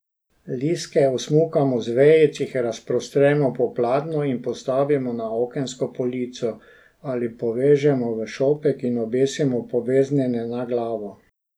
Listke osmukamo z vejic, jih razprostremo po pladnju in postavimo na okensko polico ali povežemo v šopek in obesimo poveznjeno na glavo.